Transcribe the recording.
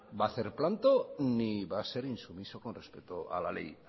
va a hacer planto ni va a ser insumiso con respecto a la ley